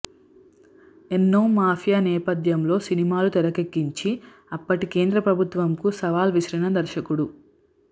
ఎన్నో మాఫియా నేపథ్యంలో సినిమాలు తెరకెక్కించి అప్పటి కేంద్ర ప్రభుత్వంకు సవాల్ విసిరిన దర్శకుడు